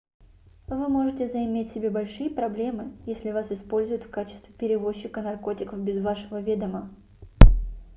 вы можете заиметь себе большие проблемы если вас используют в качестве перевозчика наркотиков без вашего ведома